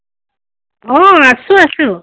অ, আছো আছো।